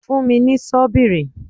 Fún mi ní ṣọ́bìrì!